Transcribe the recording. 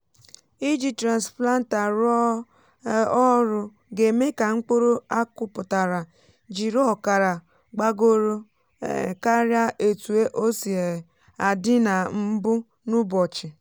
ịjì transplanter rụọ um ọrụ ga-eme ka mkpụrụ akuputara jiri ọkara gbagọrọ um karịa etu ósi um adị nà mbụ n’ụbọchị.